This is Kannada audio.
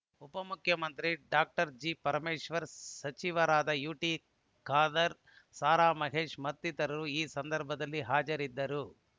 ಉಪ ಮುಖ್ಯಮಂತ್ರಿ ಡಾಕ್ಟರ್ ಜಿಪರಮೇಶ್ವರ್‌ ಸಚಿವರಾದ ಯುಟಿಖಾದರ್‌ ಸಾರಾಮಹೇಶ್‌ ಮತ್ತಿತರರು ಈ ಸಂದರ್ಭದಲ್ಲಿ ಹಾಜರಿದ್ದರು